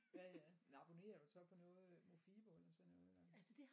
Ja ja men abonnerer du så på noget Mofibo eller sådan noget der